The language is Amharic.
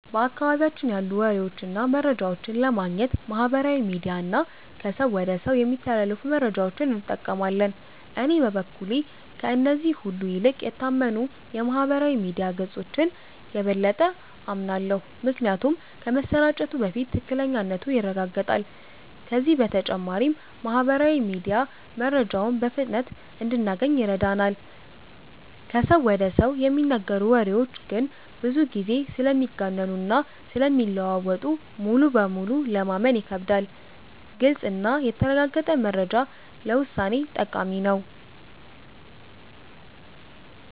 በአካባቢያችን ያሉ ወሬዎችን እና መረጃዎችን ለማግኘት ማህበራዊ ሚዲያ እና ከሰው ወደ ሰው የሚተላለፉ መረጃዎችን እንጠቀማለን። እኔ በበኩሌ ከእነዚህ ሁሉ ይልቅ የታመኑ የማህበራዊ ሚዲያ ገጾችን የበለጠ አምናለሁ። ምክንያቱም ከመሰራጨቱ በፊት ትክክለኛነቱ ይረጋገጣል፤ ከዚህ በተጨማሪም ማህበራዊ ሚዲያ መረጃውን በፍጥነት እንድናገኝ ይረዳናል። ከሰው ወደ ሰው የሚነገሩ ወሬዎች ግን ብዙ ጊዜ ስለሚጋነኑ እና ስለሚለዋወጡ ሙሉ በሙሉ ለማመን ይከብዳሉ። ግልጽ እና የተረጋገጠ መረጃ ለውሳኔ ጠቃሚ ነው።